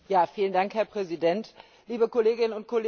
Herr Präsident, liebe Kolleginnen und Kollegen!